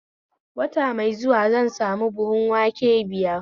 Wata mai zuwa zan sami buhun wanke biyar